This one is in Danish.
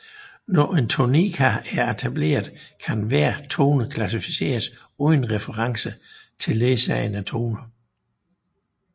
Når en tonika er etableret kan hver tone klassificeres uden reference til ledsagende toner